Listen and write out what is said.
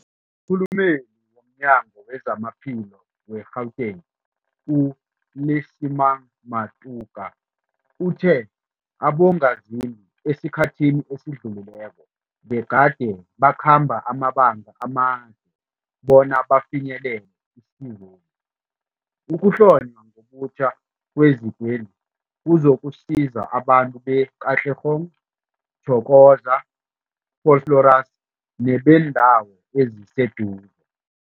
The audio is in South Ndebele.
Umkhulumeli womNyango weZamaphilo we-Gauteng, u-Lesemang Matuka uthe abongazimbi esikhathini esidlulileko begade bakhamba amabanga amade bona bafinyelele isizweli. Ukuhlonywa ngobutjha kwezikweli kuzokusiza abantu be-Katlehong, Thokoza, Vosloorus nebeendawo eziseduze.